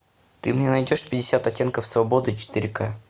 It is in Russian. ты мне найдешь пятьдесят оттенков свободы четыре ка